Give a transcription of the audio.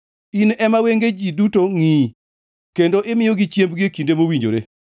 In ema wenge ji duto ngʼiyi, kendo imiyogi chiembgi e kinde mowinjore.